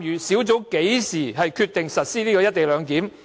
小組是在何時決定實施"一地兩檢"安排？